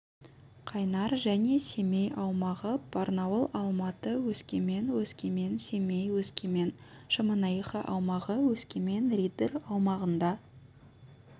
қайнар және семей аумағы барнауыл алматы өскемен өскемен семей өскемен шемонаиха аумағы өскемен риддер аумағында